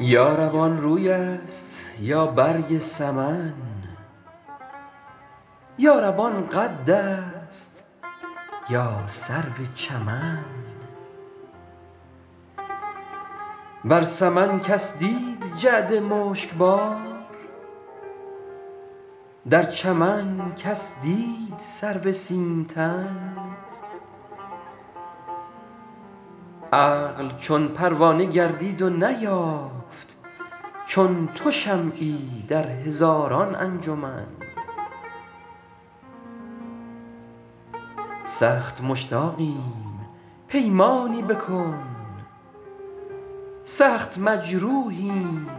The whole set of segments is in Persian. یا رب آن روی است یا برگ سمن یا رب آن قد است یا سرو چمن بر سمن کس دید جعد مشک بار در چمن کس دید سرو سیم تن عقل چون پروانه گردید و نیافت چون تو شمعی در هزاران انجمن سخت مشتاقیم پیمانی بکن سخت مجروحیم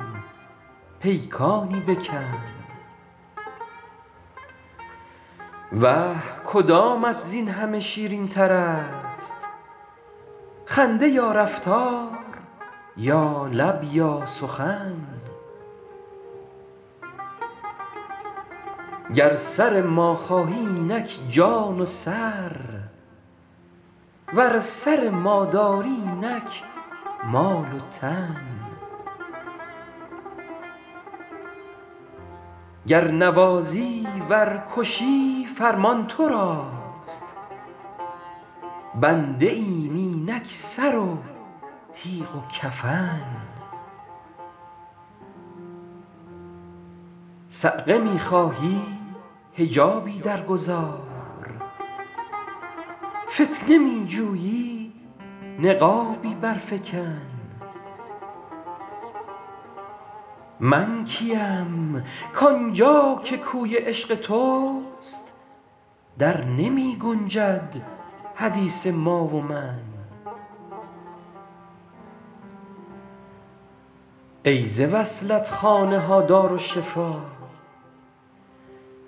پیکانی بکن وه کدامت زین همه شیرین تر است خنده یا رفتار یا لب یا سخن گر سر ما خواهی اینک جان و سر ور سر ما داری اینک مال و تن گر نوازی ور کشی فرمان تو راست بنده ایم اینک سر و تیغ و کفن صعقه می خواهی حجابی در گذار فتنه می جویی نقابی بر فکن من کیم کآن جا که کوی عشق توست در نمی گنجد حدیث ما و من ای ز وصلت خانه ها دارالشفا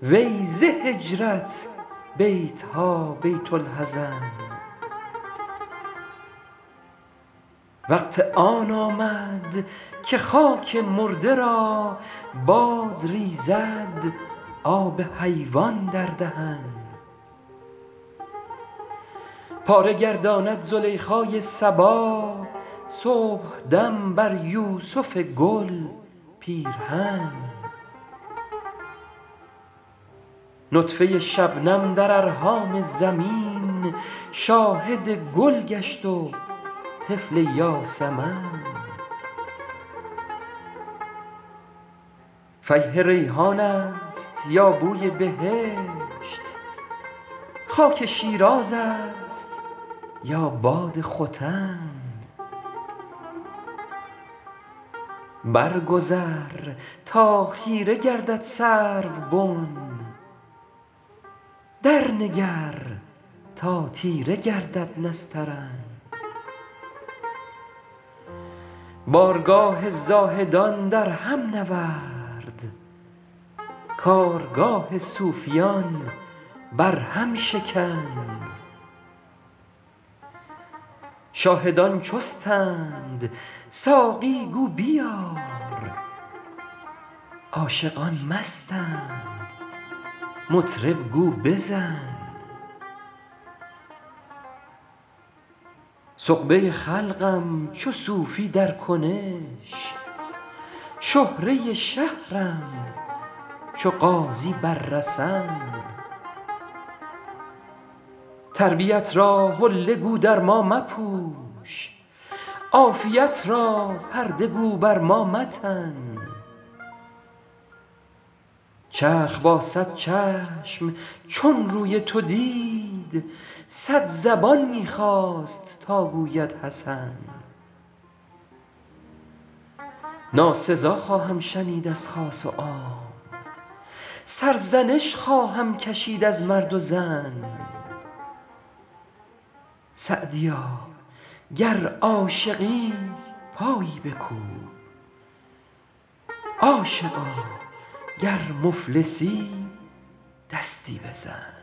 وی ز هجرت بیت ها بیت الحزن وقت آن آمد که خاک مرده را باد ریزد آب حیوان در دهن پاره گرداند زلیخای صبا صبحدم بر یوسف گل پیرهن نطفه شبنم در ارحام زمین شاهد گل گشت و طفل یاسمن فیح ریحان است یا بوی بهشت خاک شیراز است یا باد ختن بر گذر تا خیره گردد سروبن در نگر تا تیره گردد نسترن بارگاه زاهدان در هم نورد کارگاه صوفیان بر هم شکن شاهدان چستند ساقی گو بیار عاشقان مستند مطرب گو بزن سغبه خلقم چو صوفی در کنش شهره شهرم چو غازی بر رسن تربیت را حله گو در ما مپوش عافیت را پرده گو بر ما متن چرخ با صد چشم چون روی تو دید صد زبان می خواست تا گوید حسن ناسزا خواهم شنید از خاص و عام سرزنش خواهم کشید از مرد و زن سعدیا گر عاشقی پایی بکوب عاشقا گر مفلسی دستی بزن